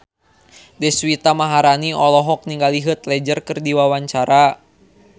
Deswita Maharani olohok ningali Heath Ledger keur diwawancara